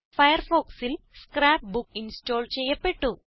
ഫയർഫോക്സിൽ scrapbook install ചെയ്യപ്പെട്ടു